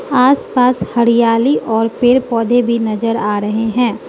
आसपास हरियाली और पेड़ पौधे भी नजर आ रहे हैं।